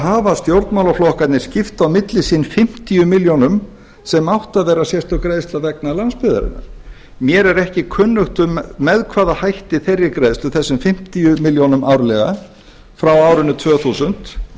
hafa stjórnmálaflokkarnir skipt á milli sín fimmtíu milljónum sem átti að vera sérstök greiðsla vegna landsbyggðarinnar mér er ekki kunnugt um með hvaða hætti þeirri greiðslu þessum fimmtíu milljónum árlega frá árinu tvö þúsund